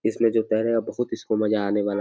इसमें जो है। बोहोत इसको मजा आने वाला है।